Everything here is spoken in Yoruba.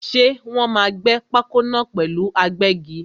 Ṣé Wòn máa gbẹ́ pákó náà pẹ̀lú agbẹ́gi?